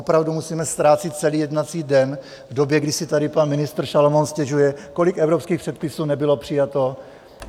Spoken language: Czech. Opravdu musíme ztrácet celý jednací den v době, kdy si tady pan ministr Šalomoun stěžuje, kolik evropských předpisů nebylo přijato?